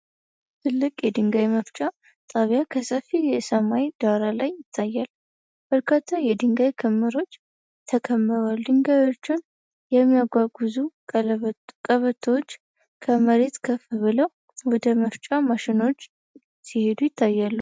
ትልቅ የድንጋይ መፍጫ ጣቢያ ከሰፊ የሰማይ ዳራ ላይ ይታያል። በርካታ የድንጋይ ክምሮች ተከምረዋል። ድንጋዮችን የሚያጓጉዙ ቀበቶዎች ከመሬት ከፍ ብለው ወደ መፍጫ ማሽኖች ሲሄዱ ይታያሉ።